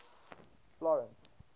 florence